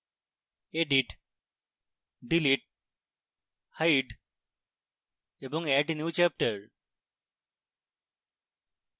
edit delete hide এবং add new chapter